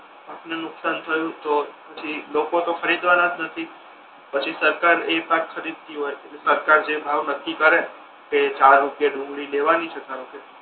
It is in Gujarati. પાક ને નુકશાન થયુ તો પછી લોકો તો ખરીદવાના જ નથી પછી સરકાર એ પાક ખરીદતી હોય ઍટલે સરકાર જે ભાવ નક્કી કરે કે ચાર રૂપિયે ડુંગળી લેવાની છે ધારો કે